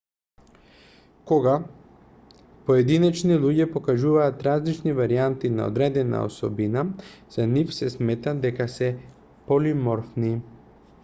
кога поединечни луѓе покажуваат различни варијанти на одредена особина за нив се смета дека се полиморфни